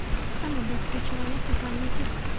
самый быстрый человек на планете